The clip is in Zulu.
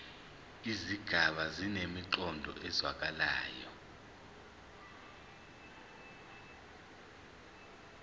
izigaba zinemiqondo ezwakalayo